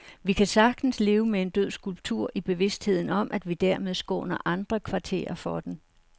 Vi kan sagtens leve med en død skulptur i bevidstheden om, at vi dermed skåner andre kvarterer for den.